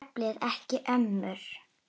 Jafnvel ekki ömmur.